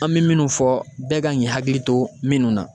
An mi minnu fɔ bɛɛ kan k'i hakili to minnu na